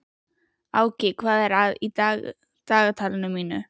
Áki, hvað er í dagatalinu mínu í dag?